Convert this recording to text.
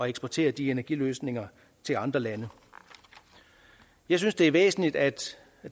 eksportere de energiløsninger til andre lande jeg synes det er væsentligt at